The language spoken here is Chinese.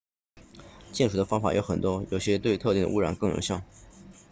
净水的方法有很多有些对特定的污染更有效